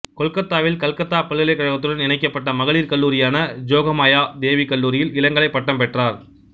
கொல்கத்தாவில் கல்கத்தா பல்கலைக்கழகத்துடன் இணைக்கப்பட்ட மகளிர் கல்லூரியான ஜோகமயா தேவி கல்லூரியில் இளங்கலைப் பட்டம் பெற்றார்